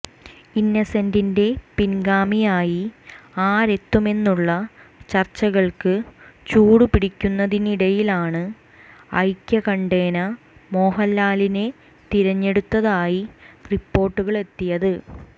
ഇന്നസെന്റിന്റെ പിന്ഗാമിയായി ആരെത്തുമെന്നുള്ള ചര്ച്ചകള്ക്ക് ചൂടുപിടിക്കുന്നതിനിടയിലാണ് ഐക്യകണ്ഠേന മോഹന്ലാലിനെ തിരഞ്ഞെടുത്തതായി റിപ്പോര്ട്ടുകളെത്തിയത്